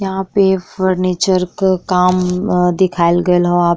यहाँँ पे फर्नीचर क काम अ दिखाइल गईल ह।